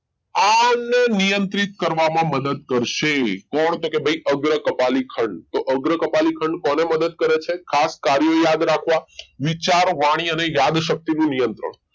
આ નિયંત્રિત કરવામાં મદદ કરશે કોણ તો કે ભાઈ અગ્ર કપાલી ખંડ તો અગ્ર કપાલી ખંડ કોને મદદ કરે છે ખાસ કાર્યો યાદ રાખવા વિચાર વાણી અને યાદશક્તિ નું નિયંત્રણ